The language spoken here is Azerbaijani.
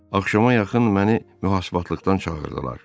Axşama yaxın məni mühasibatlıqdan çağırdılar.